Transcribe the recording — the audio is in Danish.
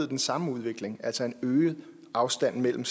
den samme udvikling altså en øget afstand mellem